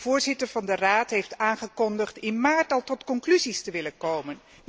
De voorzitter van de Raad heeft aangekondigd in maart al tot conclusies te willen komen.